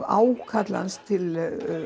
ákall hans til